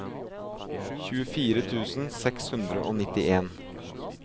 tjuefire tusen seks hundre og nittien